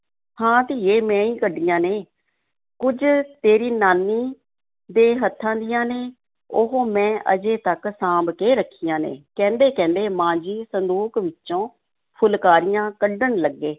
ਹਾਂ ਧੀਏ, ਮੈਂ ਹੀ ਕੱਢੀਆਂ ਨੇ, ਕੁੱਝ ਤੇਰੀ ਨਾਨੀ ਦੇ ਹੱਥਾਂ ਦੀਆਂ ਨੇ, ਉਹ ਮੈਂ ਅਜੇ ਤੱਕ ਸਾਂਭ ਕੇ ਰੱਖੀਆਂ ਨੇ, ਕਹਿੰਦੇ-ਕਹਿੰਦੇ ਮਾਂ ਜੀ ਸੰਦੂਕ ਵਿੱਚੋਂ ਫੁਲਕਾਰੀਆਂ ਕੱਢਣ ਲੱਗੇ।